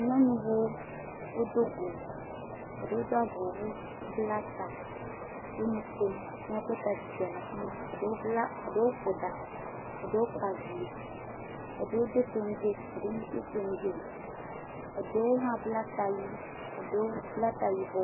Nyɔnuwo wodo go. Eɖewo do avɔ wu, wobla ta. Wonu kom ne ekpɔe ta dzidzɔ le afi ma. Eɖewo bla, eɖewo ƒo ɖa, eɖewo kpa vi. Eɖewo do toŋgɛ eɖewo medo toŋgɛ o. Eɖewo hã bla ta ɣi, eɖewo bla ta yibɔ.